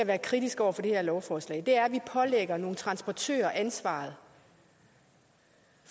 er kritisk over for det her lovforslag er at vi pålægger nogle transportører ansvaret